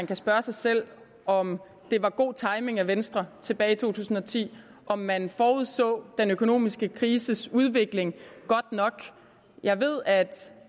kan spørge sig selv om det var god timing af venstre tilbage i to tusind og ti og om man forudså den økonomiske krises udvikling godt nok jeg ved at